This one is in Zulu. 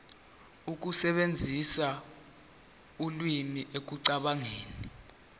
ukusebenzisa ulimi ekucabangeni